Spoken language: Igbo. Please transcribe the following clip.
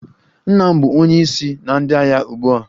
Nna m bụ onye isi na ndị agha ugbu a.